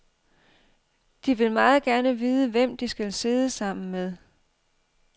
De vil meget gerne vide, hvem de skal sidde sammen med.